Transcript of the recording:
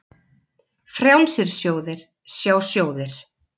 Frjálsir sjóðir, sjá sjóðir